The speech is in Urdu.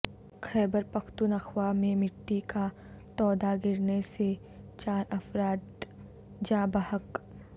خیبر پختونخوا میں مٹی کا تودا گرنے سے چار افرادجاں بحق